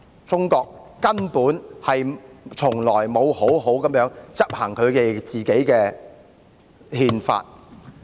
中國根本從來沒有好好執行自己的憲法。